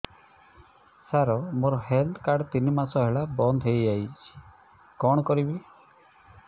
ସାର ମୋର health card ତିନି ମାସ ହେଲା ବନ୍ଦ ହେଇଯାଇଛି କଣ କରିବି